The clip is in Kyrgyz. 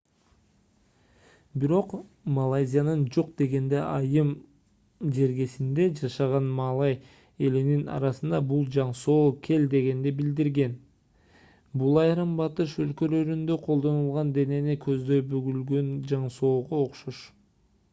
бирок малайзиянын жок дегенде айыл жергесинде жашаган малай элинин арасында бул жаңсоо кел дегенди билдирет бул айрым батыш өлкөлөрүндө колдонулган денени көздөй бүгүлгөн жаңсоого окшош